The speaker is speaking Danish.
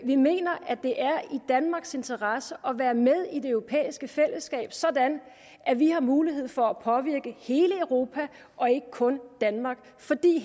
vi mener at det er i danmarks interesse at være med i det europæiske fællesskab sådan at vi har mulighed for at påvirke hele europa og ikke kun danmark fordi